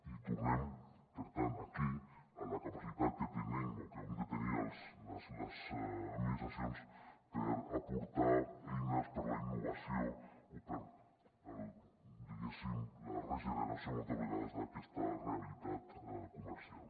i tornem per tant aquí a la capacitat que tenim o que hem de tenir les administracions per aportar eines per a la innovació o per a diguéssim la regeneració moltes vegades d’aquesta realitat comercial